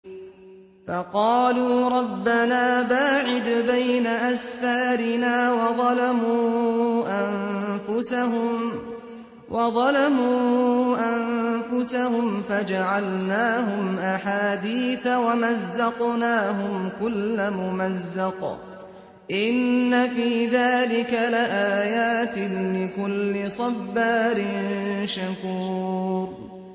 فَقَالُوا رَبَّنَا بَاعِدْ بَيْنَ أَسْفَارِنَا وَظَلَمُوا أَنفُسَهُمْ فَجَعَلْنَاهُمْ أَحَادِيثَ وَمَزَّقْنَاهُمْ كُلَّ مُمَزَّقٍ ۚ إِنَّ فِي ذَٰلِكَ لَآيَاتٍ لِّكُلِّ صَبَّارٍ شَكُورٍ